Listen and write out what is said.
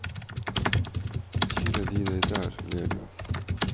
Kiler de deg der, ler du.